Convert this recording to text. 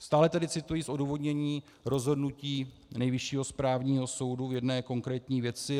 - Stále tedy cituji z odůvodnění rozhodnutí Nejvyššího správního soudu v jedné konkrétní věci.